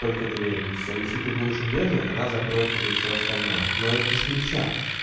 только двери и всё если ты будешь удерживать она закроет тебе всё остальное но это с ключа